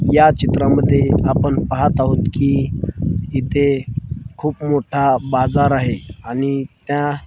या चित्रामध्ये आपण पाहत आहोत की इथे खूप मोठा बाजार आहे आणि त्या --